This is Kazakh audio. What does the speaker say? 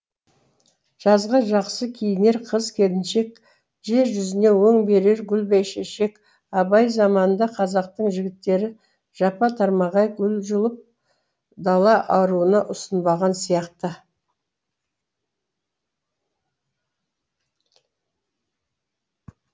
жазға жақсы киінер қыз келіншек жер жүзіне өң берер гүл бәйшешек абай заманында қазақтың жігіттері жапа тармағай гүл жұлып дала аруына ұсынбаған сияқты